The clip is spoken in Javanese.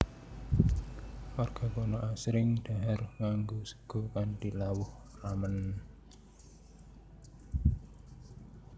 Warga kana asring dhahar nganggo sega kanthi lawuh ramen